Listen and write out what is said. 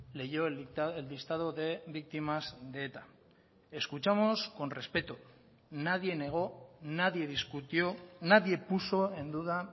leyó el listado de víctimas de eta escuchamos con respeto nadie negó nadie discutió nadie puso en duda